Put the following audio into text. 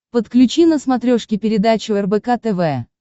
подключи на смотрешке передачу рбк тв